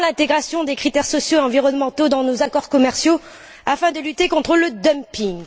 À quand l'intégration des critères sociaux et environnementaux dans nos accords commerciaux afin de lutter contre le dumping?